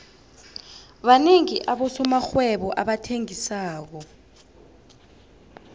banengi abosomarhwebo abathengisako